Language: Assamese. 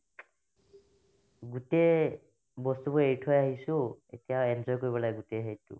গোটেই বস্তুবোৰ এৰি থৈ আহিছো এতিয়া enjoy কৰিব লাগে গোটে সেইটো